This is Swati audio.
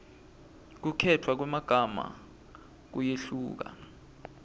kukhetfwa kwemagama kuyehluka